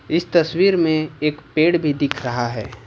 इस तस्वीर में एक पेड़ भी दिख रहा है।